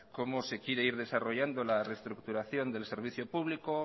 cómo se quiere ir desarrollando la reestructuración del servicio público